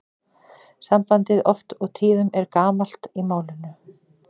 Sambandið oft og tíðum er gamalt í málinu.